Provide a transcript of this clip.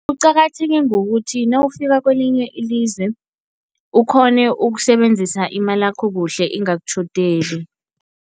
Kuqakatheke ngokuthi nawufika kwelinye ilizwe ukghone ukusebenzisa imalakho kuhle ingakutjhodeli.